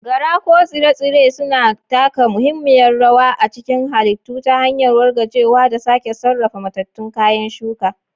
Gara ko Tsire-tsire suna taka muhimmiyar rawa a cikin halittu ta hanyar wargajewa da sake sarrafa matattun kayan shuka.